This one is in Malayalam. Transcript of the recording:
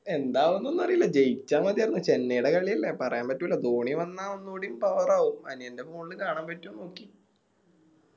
എന്താവുന്നോന്നറില്ല ജയിച്ച മതിയാർന്നു ചെന്നൈടെ കളിയല്ല പറയാൻ പറ്റൂല ധോണി വന്ന ഒന്നൂടി Power ആവും അനിയൻറെ മോളില് കാണാൻ പറ്റോന്ന് നോക്കി